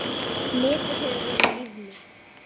Netið hefur verið líf mitt.